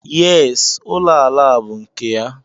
Yes, ụlọ ala a bú nke ya.